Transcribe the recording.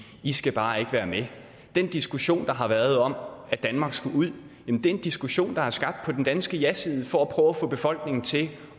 i skal bare ikke være med den diskussion der har været om at danmark skulle ud er en diskussion der er skabt på den danske jaside for at prøve at få befolkningen til